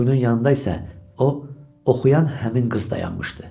Quyunun yanında isə o oxuyan həmin qız dayanmışdı.